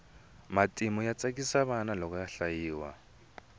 matimu ya tsakisa vana loko ya hlayiwa